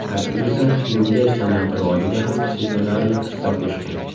Aktrisa dublyaj san’ati rivojiga ham sezilarli hissa qo‘shgan.